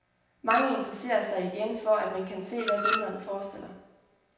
Mange interesserer sig igen for, at man kan se, hvad billederne forestiller.